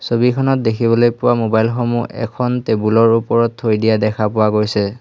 ছবিখনত দেখিবলৈ পোৱা মোবাইল সমূহ এখন টেবুল ৰ ওপৰত থৈ দিয়া দেখা পোৱা গৈছে।